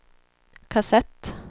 kassett